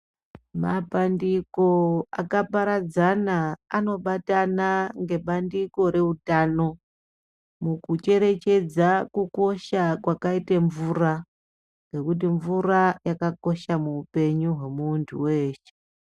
Mapandiko akaparadzana anobatana nebandiko rehutano mukucherechedza kukosha kwakaita mvura nekuti mvura yakakosha muupenyu wemuntu weshe.